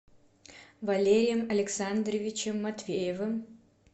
валерием александровичем матвеевым